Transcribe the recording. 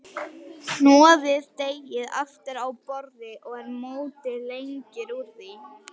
Hnoðið deigið aftur á borði og mótið lengjur úr því.